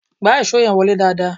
Gbá ìṣó yẹn wọlé dáadáa!